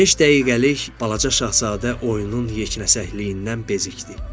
Beş dəqiqəlik balaca şahzadə oyunun yeknəsəkliyindən bezikdi.